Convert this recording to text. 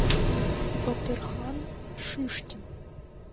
батырхан шишкин